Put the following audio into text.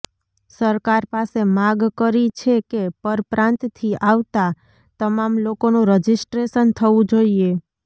સરકાર પાસે માગ કરી છે કે પરપ્રાંતથી આવતા તમામ લોકોનું રજીસ્ટ્રેશન થવું જોઈએ